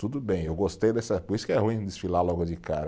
Tudo bem, eu gostei dessa, por isso que é ruim desfilar logo de cara.